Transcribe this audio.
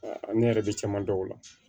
ne yɛrɛ bɛ caman dɔn o la